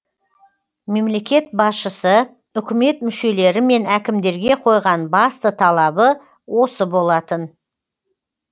мемлекет басшысы үкімет мүшелері мен әкімдерге қойған басты талабы осы болатын